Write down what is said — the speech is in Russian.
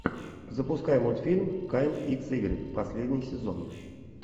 запускай мультфильм кайл икс игрик последний сезон